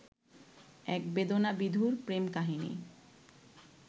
এক বেদনাবিধুর প্রেম কাহিনী